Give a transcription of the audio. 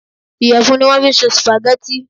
Ìyẹ̀fun ni wọ̀n fi ṣe supagẹ́tì.